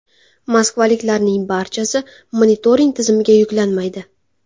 Moskvaliklarning barchasi monitoring tizimiga yuklanmaydi.